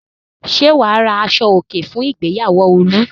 Ṣé wà á ra aṣọòkè fún ìgbéyàwó Olú?